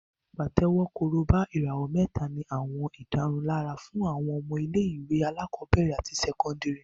Pàtẹ́wọ́, Korobá, ìràwọ̀ mẹ́ta ní àwọn ìdárunlárà fún àwọn ọmọ ilé-ìwé alákọ̀ọ́bẹ̀rẹ̀ àti sẹ́kọ́ndìrì